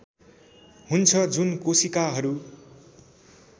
हुन्छ जुन कोशिकाहरू